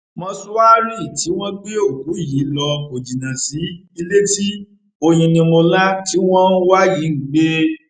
mòṣùárì tí wọn gbé òkú yìí lọ kò jìnnà sí ilé tí oyinnimọlá tí wọn ń wá yìí ń gbé